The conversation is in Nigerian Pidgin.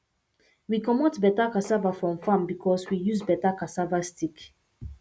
we comot better cassava from because we use better cassava stick